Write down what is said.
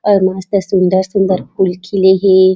और मस्त सुन्दर सुन्दर फूल खिले है।